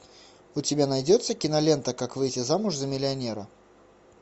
у тебя найдется кинолента как выйти замуж за миллионера